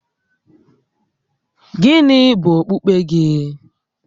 Gịnị bụ okpukpe gị?